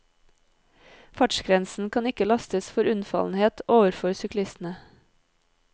Fartsgrensen kan ikke lastes for unnfallenhet overfor syklistene.